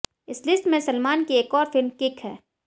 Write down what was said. इस लिस्ट में सलमान की एक और फिल्म किक है